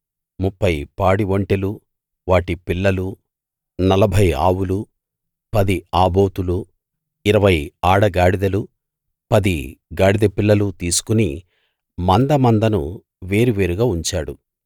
ముప్ఫై పాడి ఒంటెలూ వాటి పిల్లలూ నలభై ఆవులూ పది ఆబోతులూ ఇరవై ఆడ గాడిదలూ పది గాడిద పిల్లలూ తీసుకు మందమందను వేరు వేరుగా ఉంచాడు